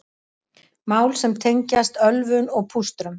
Mál sem tengjast ölvun og pústrum